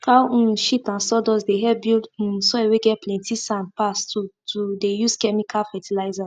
cow um shit and sawdust dey help build um soil whey get plenty sand pass to to dey use chemical fertilizers